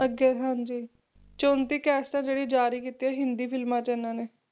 ਅੱਗੇ ਹਾਂਜੀ, ਚੋਂਤੀ ਕੈਸਟਾਂ ਜਿਹੜੀਆਂ ਜ਼ਾਰੀ ਕੀਤੀਆਂ ਹਿੰਦੀ ਫਿਲਮਾਂ 'ਚ ਇਹਨਾਂ ਨੇ,